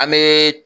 An bɛ